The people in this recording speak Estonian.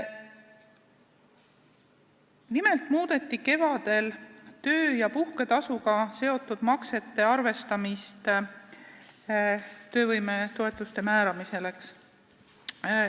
Kevadel muudeti töö- ja puhketasuga seotud maksete arvestamist töövõimetoetuste määramisel.